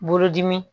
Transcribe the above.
Bolodimi